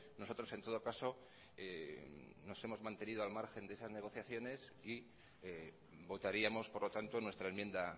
nosotros en todo caso nos hemos mantenido al margen de esas negociaciones y votaríamos por lo tanto nuestra enmienda